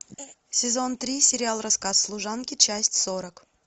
сезон три сериал рассказ служанки часть сорок